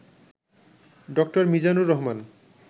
ড. মিজানুর রহমান